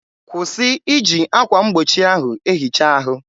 kwụsị iji akwa mgbochi ahụ ehicha ahụ!